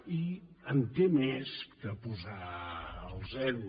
i en té més que posar el zero